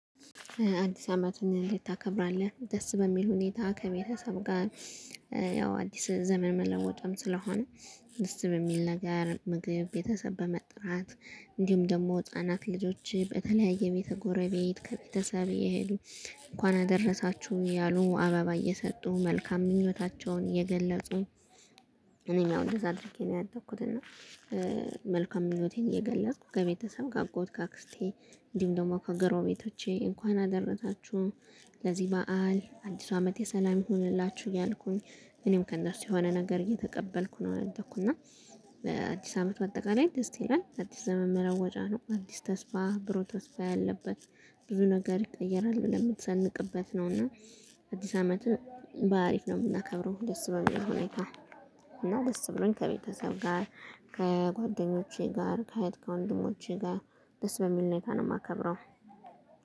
አዲስ አመቱን እንዴት ታከብራለህ ደስ በሚል ሁኔታ ከቤተሰብ ጋር? ያው አዲስ ዘመን መለወጥም ስለሆነ ደስ በሚል ነገር ምግብ ቤተሰብ በመጥራት። እንዲሁም ደግሞ ህፃናት ልጆች በተለያየ ቤት ጎረቤት ከቤተሰብ የሄዱ እንኳን አደረሳችሁ እያሉ አበባ እየሰጡ መልካም ምኞታቸውን እየገለጹ። እኔም ያው እንደዛ አድርጌ ነው ያደኩት እና። መልካም ምኞቴን እየገለፅኩ ከቤተሰብ ከአጎት ከአክስቴ እንዲሁም ደግሞ ከግረቤቶቼ እንኳን አደረታችሁ ለዚህ በዓል አዲሱ አመት የሰላም ይሁንላችሁ እያልኩኝ። እኔም ከእነርሱ የሆነ ነገር እየተቀበልኩ ነው ያደኩና። አዲስ አመት ባጠቃላይ ደስ ይላል አዲስ ዘመን መለወጫ ነው። አዲስ ተስፋ ብሮ ተስፋ ያለበት ብዙ ነገር ይቀየራል ብለን የምትሰንቅበት ነው። እና አዲስ አመት በአሪፍ ነው የምናከብረው ደስ በሚል ሁኔታ። እና ደስ ብሎኝ ከቤተሰብ ጋር ከጓደኞቼ ጋር ከህት ከወንድሞቼ ጋር ደስ በሚል ሁኔታ ነው የማከብረው